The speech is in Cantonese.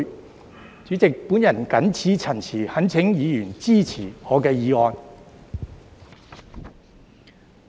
代理主席，我謹此陳辭，懇請議員支持我的議案。